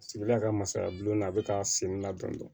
Sigida ka masakɛ n'a bɛ ka sen ladɔn